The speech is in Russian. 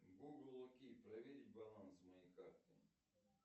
гугл окей проверить баланс моей карты